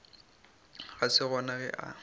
ga se gona ge a